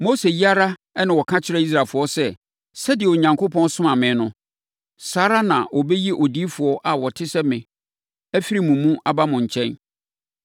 “Mose yi ara na ɔka kyerɛɛ Israelfoɔ sɛ, sɛdeɛ Onyankopɔn somaa me no, saa ara na ɔbɛyi odiyifoɔ a ɔte sɛ me afiri mo mu aba mo nkyɛn.